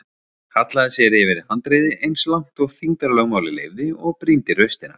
Hallaði sér yfir handriðið eins langt og þyngdarlögmálið leyfði og brýndi raustina.